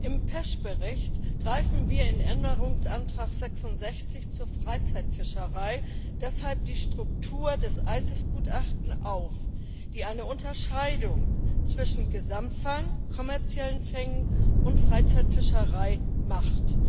Im PECH Bericht greifen wir in Änderungsantrag 66 zur Freizeitfischerei deshalb die Struktur des ICES Gutachtens auf, das eine Unterscheidung zwischen Gesamtfang, kommerziellen Fängen und Freizeitfischerei macht.